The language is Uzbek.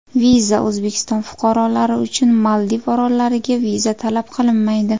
Viza O‘zbekiston fuqarolari uchun Maldiv orollariga viza talab qilinmaydi.